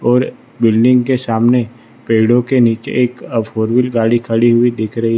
और बिल्डिंग के सामने पेड़ों के नीचे एक फोर वीलर गाड़ी खड़ी हुई दिख रही है।